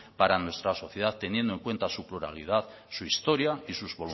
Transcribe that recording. para nuestra sociedad teniendo en cuenta su pluralidad su historia y sus